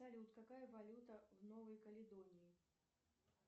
салют какая валюта в новой каледонии